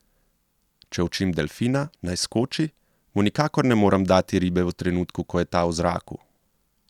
Če učim delfina, naj skoči, mu nikakor ne morem dati ribe v trenutku, ko je ta v zraku.